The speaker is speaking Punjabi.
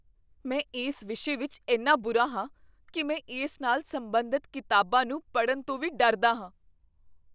ਮੈਂ ਇਸ ਵਿਸ਼ੇ ਵਿੱਚ ਇੰਨਾ ਬੁਰਾ ਹਾਂ ਕੀ ਮੈਂ ਇਸ ਨਾਲ ਸਬੰਧਤ ਕਿਤਾਬਾਂ ਨੂੰ ਪੜਨ ਤੋਂ ਵੀ ਡਰਦਾ ਹਾਂ।